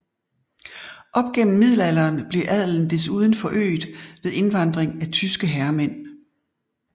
Op gennem middelalderen blev adelen desuden forøget ved indvandring af tyske herremænd